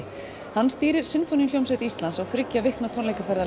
hann stýrir Sinfóníuhljómsveit Íslands á þriggja vikna tónleikaferð